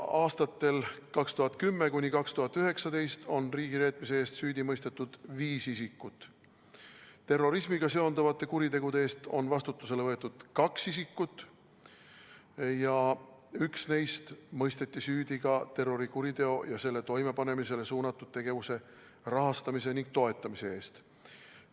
Aastatel 2010–2019 on riigireetmise eest süüdi mõistetud viis isikut, terrorismiga seonduvate kuritegude eest on vastutusele võetud kaks isikut ja üks neist mõisteti süüdi ka terrorikuriteo ja selle toimepanemisele suunatud tegevuse rahastamise ning toetamise eest.